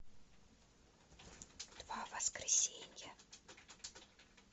два воскресенья